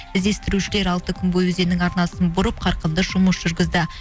іздестірушілер алты күн бойы өзеннің арнасын бұрып қарқынды жұмыс жүргізді